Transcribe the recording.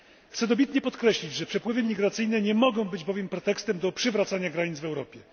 Chcę dobitnie podkreślić, że przepływy migracyjne nie mogą być bowiem pretekstem do przywracania granic w Europie.